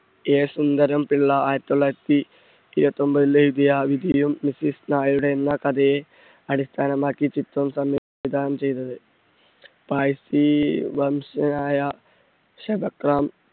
A Sundaram Pillai ആയിരത്തി തൊള്ളായിരത്തി ഇരുപത്തൊമ്പതിൽ എഴുതിയ വിധിയും മിസ്സിസ് നായരുടെ എന്ന കഥയെ അടിസ്ഥാനമാക്കി ചിത്രം സംവിധാനം ചെയ്തത് വംശജനായ